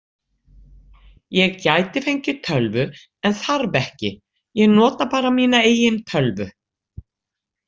Ég gæti fengið tölvu en þarf ekki, ég nota bara mína eigin tölvu.